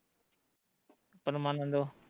ਪਰਮਾਨੰਦੋ